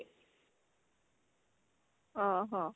ଓ ହଁ